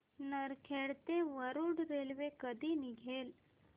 नरखेड ते वरुड रेल्वे कधी निघेल